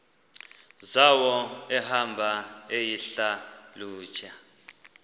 zawo ehamba eyihlalutya